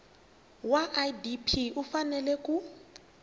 wa idp u fanele ku